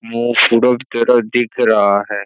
मुँह तरह दिख रहा है।